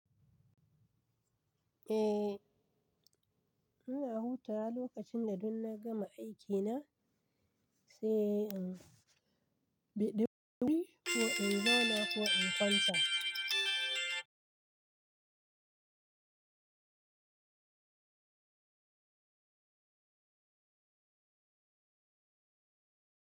Eh, ina hutawa lokacin da dun na gama aikina sai in biɗi wuri ko in zauna ko in kwanta.